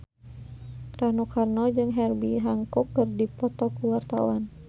Rano Karno jeung Herbie Hancock keur dipoto ku wartawan